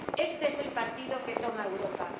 Este es el partido que toma Europa.